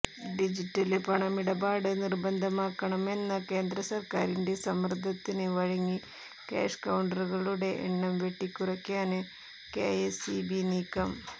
digital പണമിടപാട് നിര്ബന്ധമാക്കണമെന്ന കേന്ദ്രസര്ക്കാരിന്റെ സമ്മര്ദത്തിന് വഴങ്ങി കാഷ് കൌണ്ടറുകളുടെ എണ്ണം വെട്ടിക്കുറയ്ക്കാന് കെഎസ്ഇബി നീക്കം